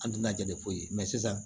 An tɛna jani foyi mɛ sisan